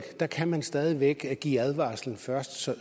kan man stadig væk give advarsel først så